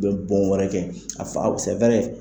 U bɛ bɔn wɛrɛ kɛ , a fa